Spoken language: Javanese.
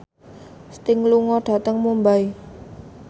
Sting lunga dhateng Mumbai